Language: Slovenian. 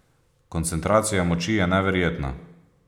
Koncentracija moči je neverjetna.